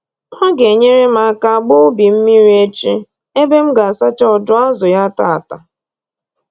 Ọ ga-enyere m aka gbaa ubi m mmiri echi ebe m ga-asacha ọdụ azụ ya tata